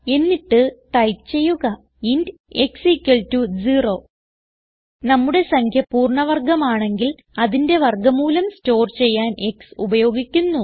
എന്നിട്ട് ടൈപ്പ് ചെയ്യുക int x 0 നമ്മുടെ സംഖ്യ പൂർണ്ണ വർഗമാണെങ്കിൽ അതിന്റെ വർഗ മൂലം സ്റ്റോർ ചെയ്യാൻ x ഉപയോഗിക്കുന്നു